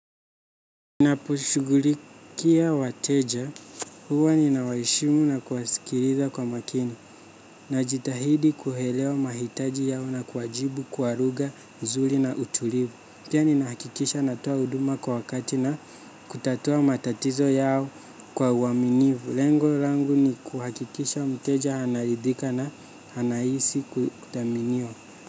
Ninaposhughulikia wateja huwa ninawaheshimu na kuwasikiliza kwa makini na jitahidi kuelewa mahitaji yao na kuwajibu kuwa lugha mzuri na utulivu. Pia ninahakikisha natoa huduma kwa wakati na kutatua matatizo yao kwa uaminifu. Lengo langu ni kuhakikisha mteja anaridhika na anahisi kutaminiwa.